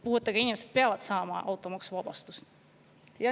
Puuetega inimesed peavad saama automaksuvabastuse.